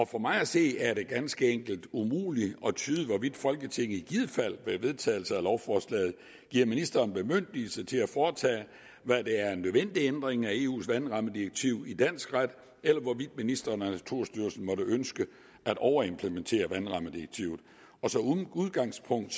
for mig at se er det ganske enkelt umuligt at tyde hvorvidt folketinget i givet fald ved en vedtagelse af lovforslaget giver ministeren bemyndigelse til at foretage hvad der er en nødvendig ændring af eus vandrammedirektiv i dansk ret eller hvorvidt ministeren og naturstyrelsen måtte ønske at overimplementere vandrammedirektivet som udgangspunkt